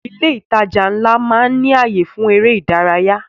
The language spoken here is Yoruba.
Ilé ìtajà ńlá máa ń ní ayé fún èrè ìdárayá